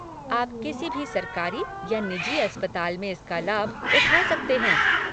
आप किसी भी सरकारी या निजी अस्पताल में इसका लाभ उठा सकते हैं।